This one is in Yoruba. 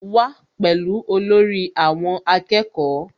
Wá pẹ̀lú olórí àwọn akẹ́kọ̀ọ́